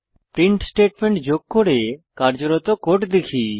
print statement যোগ করে কার্যরত কোড দেখি